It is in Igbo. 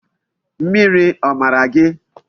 Mmiri o mara gi?